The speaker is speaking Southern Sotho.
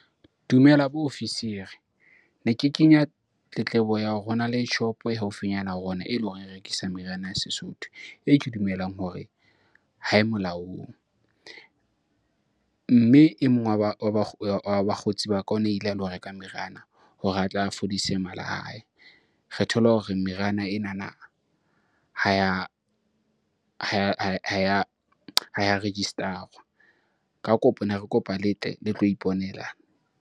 Dumela bo ofisiri. Ne ke kenya tletlebo ya hore hona le shopo e haufinyana ya rona, eleng hore e rekisa meriana ya Sesotho e ke dumelang hore ha e molaong. Mme e mong wa bakgotsi ba ka o ne a ile a lo reka meriana hore atle a fodise mala a hae. Re thola hore meriana enana ha ya register-rwa. Ka kopo ne re kopa le tle le tlo iponela.